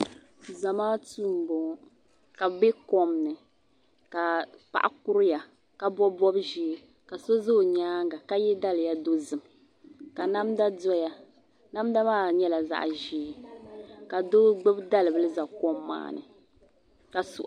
Zamaatu m boŋɔ ka bɛ be kom ni ka paɣa kuriya ka bobi bob'ʒee ka so za o nyaanga ka ye daliya dozim ka namda doya namda maa nyɛla zaɣa ʒee ka doo gbibi dali'bila n za kom maa ni ka so.